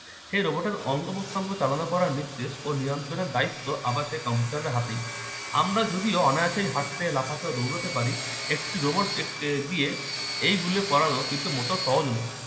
এই robot এর অঙ্গ-প্রত্যঙ্গ চালনা করার নির্দেশ ও নিয়ন্ত্রণের দায়িত্ব আবার সেই কম্পিউটারের হাতে আমরা যদিও অনায়াসে হাঁটতে লাফাতে ও দৌড়াতে পারি একটি robot দিয়ে এইগুলি করানো কিন্তু মোটেই সহজ নয়